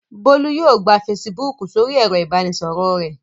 Bólú yóò gba Facebook sórí ẹ̀rọ-ìbánisọ̀rọ̀ rẹ̀.